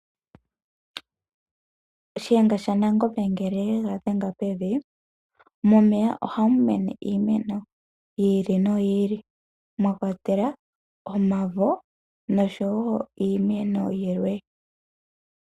Shiyenga shaNangombe ngele shega dhenge pevi momeya ohamu mene iimeno yi ili noyi ili mwa kwatelwa omavo oshowo iimeno yilwe.